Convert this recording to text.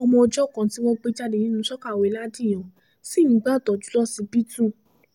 ọmọ ọjọ́ kan tí wọ́n gbé jáde nínú sọ̀kàwéè ladìyàn ṣì ń gbàtọ́jú lọsibítù